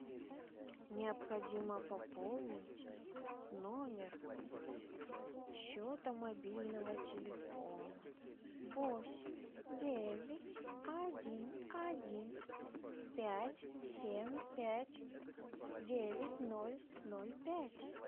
необходимо пополнить номер счета мобильного телефона восемь девять один один пять семь пять девять ноль ноль пять